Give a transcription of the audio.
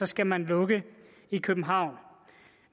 skal man lukke i københavn